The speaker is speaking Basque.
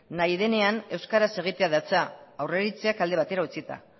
nahi denean euskaraz egitea datza aurreiritziak alde batera utzita